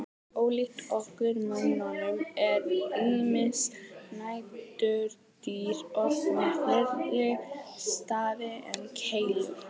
Ólíkt okkur mönnunum eru ýmis næturdýr oft með fleiri stafi en keilur.